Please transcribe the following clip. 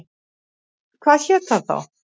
Hvað hét það þá?